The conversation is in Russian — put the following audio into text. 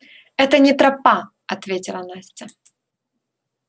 это не тропа ответила настя